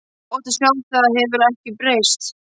Gott að sjá að það hefur ekki breyst.